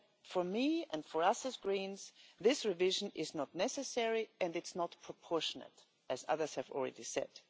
For me and for us as Greens this revision is not necessary and it is not proportionate, as others have already said.